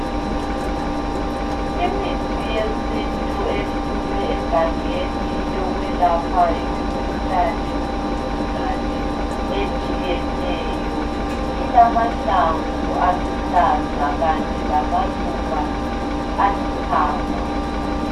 Imithi yesintu ehlume egangeni yokwelapha imikhuhlane kuzigulane etshiyeneyo. Ilamahlavu aluhlaza kanye lamaluba alithanga.